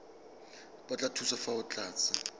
batla thuso fa o tlatsa